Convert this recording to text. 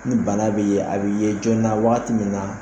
Ni bana bɛ ye, a bɛ ye jɔɔna, waati min na